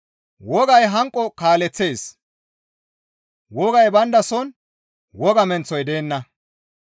wogay hanqo kaaleththees; wogay bayndason woga menththoy deenna.